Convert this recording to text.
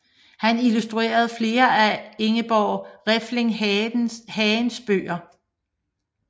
Han illustrerede flere af Ingeborg Refling Hagens bøger